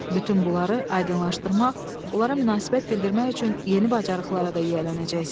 Bütün bunları aydınlaşdırmaq, onlara münasibət bildirmək üçün yeni bacarıqlara da yiyələnəcəksiz.